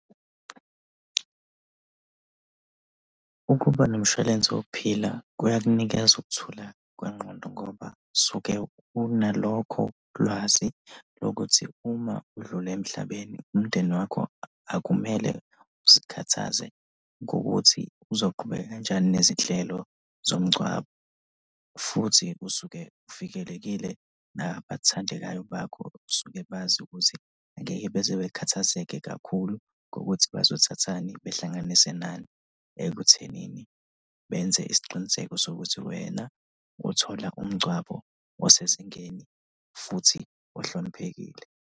Ukuba nomshwalense wokuphila kuyakunikeza ukuthula kwengqondo, ngoba suke unalokho lwazi lokuthi uma udlula emhlabeni umndeni wakho akumele uzikhathaze ngokuthi uzoqhubeka kanjani nezinhlelo zomngcwabo, futhi usuke uvikelekile. Nabathandekayo bakho basuke bazi ukuthi angeke beze bakhathazeke kakhulu ukuthi bazothatha ini behlanganise nani ekuthenini benze isiqiniseko sokuthi wena uthola umngcwabo osezingeni futhi ohloniphekile.